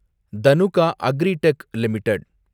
Dhanuka agritech limited